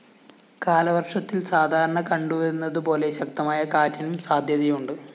കാലവര്‍ഷത്തില്‍ സാധാരണ കണ്ടുവരുന്നതു പോലെ ശക്തമായ കാറ്റിനും സാധ്യതയുണ്ട്